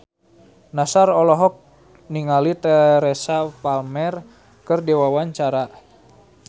Nassar olohok ningali Teresa Palmer keur diwawancara